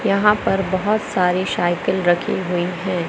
यहां पर बहोत सारी साइकिल रखी हुई है।